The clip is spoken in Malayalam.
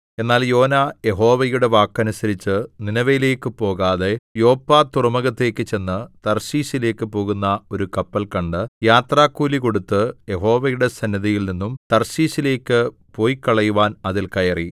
എന്നാൽ യോനാ യഹോവയുടെ വാക്കനുസരിച്ച് നിനവയിലേക്കു പോകാതെ യോപ്പ തുറമുഖത്തേക്കു ചെന്ന് തർശീശിലേക്കു പോകുന്ന ഒരു കപ്പൽ കണ്ട് യാത്രകൂലി കൊടുത്ത് യഹോവയുടെ സന്നിധിയിൽനിന്നും തർശീശിലേക്കു പൊയ്ക്കളയുവാൻ അതിൽ കയറി